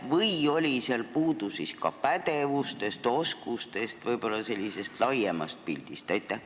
Või oli seal puudu ka pädevustest, oskustest, võib-olla sellisest laiemast pildist?